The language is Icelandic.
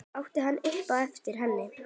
át hann upp eftir henni.